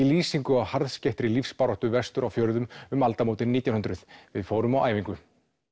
lýsingu á lífsbaráttu vestur á fjörðum um aldamótin nítján hundruð við fórum á æfingu